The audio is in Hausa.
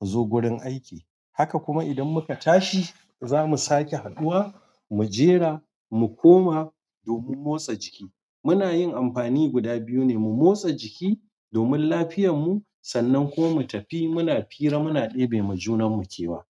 mu zo gurin aiki. Haka kuma idan muka tashi zamu sake haɗuwa mujera mu koma domin motsa jiki. Muna yin amfani guda biyu ne, mu motsa jiki domin lafiyarmu sannan kuma mu tafi muna fira muna ɗebe ma junanmu kewa.